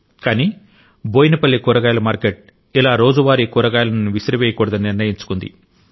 కాని బోయిన్ పల్లి కూరగాయల మార్కెట్ ఇలా రోజువారీ కూరగాయలను విసిరివేయకూడదని నిర్ణయించుకుంది